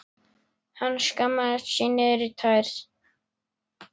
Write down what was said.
Hann skammaðist sín niður í tær.